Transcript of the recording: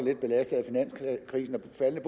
er